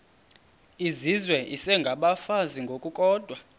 izizwe isengabafazi ngokukodwa